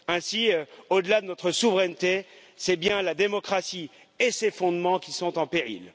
Ainsi, au delà de notre souveraineté, c'est bien la démocratie et ses fondements qui sont en péril.